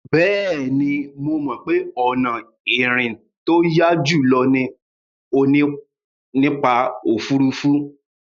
Bẹ́ẹ̀ni, mo mọ̀ pé ọ̀nà ìrìn tó yá jùlọ ni nípa òfuurufú.